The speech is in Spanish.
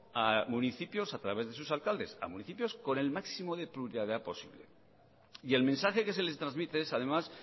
a municipios a través de sus alcaldes a municipios con el máximo de pluralidad posible y el mensaje que se les trasmite es además